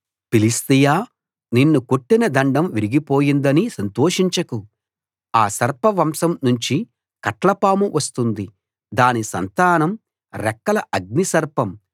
Philistia నిన్ను కొట్టిన దండం విరిగిపోయిందని సంతోషించకు ఆ సర్పవంశం నుంచి కట్లపాము వస్తుంది దాని సంతానం రెక్కల అగ్ని సర్పం